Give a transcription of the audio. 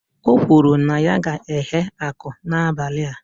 O kwuru na ya ga-eghe aku n'abalị a